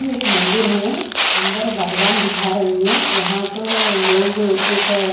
ये एक मंदिर है अंदर भगवान दिखा रही है यहाँ तो लोग एक --